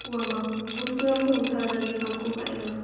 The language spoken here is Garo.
uamang bosturangko rongtalatani kamko ka·enga.